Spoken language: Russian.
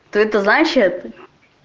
о это значит